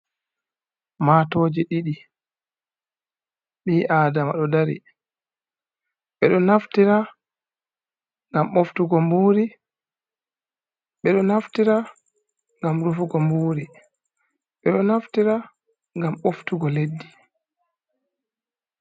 Matooji ɗiɗi bi adama ɗo dari ɓeɗo naftira ngam ɓoftugo mburi ɓeɗo naftira ngam rufugo mburi ɓeɗo naftira ngam boftugo leɗɗi.